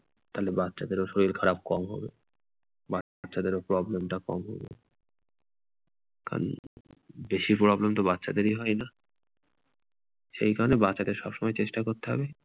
তাহলে বাচ্চাদেরও শরীর খারাপ কম হবে। বাচ্চাদেরও problem টা কম হবে। কারন বেশি problem তো বাচ্চাদেরই হয়না । সেই কারণে বাচ্চাদের সবসময় চেষ্টা করতে হবে